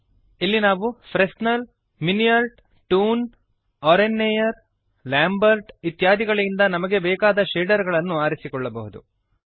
ಇಲ್ಲಿ ನಾವು Fresnel Fresnel Minnaert Minnaert toon toon oren Nayar Oren Nayar ಮತ್ತು Lambert Lambert ಇತ್ಯಾದಿಗಳಿಂದ ನಮಗೆ ಬೇಕಾದ ಶೇಡರ್ ಅನ್ನು ಆರಿಸಿಕೊಳ್ಳಬಹುದು